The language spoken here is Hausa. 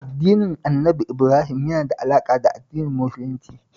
Addinin Annabi Ibrahim yana da alaƙa da Addinin Musulunci